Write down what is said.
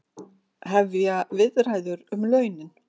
Hefja viðræður um launin